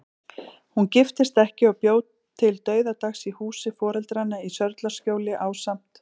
Hún giftist ekki og bjó til dauðadags í húsi foreldranna í Sörlaskjóli, ásamt